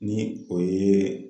Ni o ye